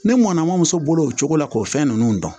Ne mɔnna ma muso bolo o cogo la k'o fɛn ninnu dɔn